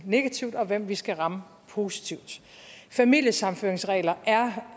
negativt og hvem vi skal ramme positivt familiesammenføringsregler er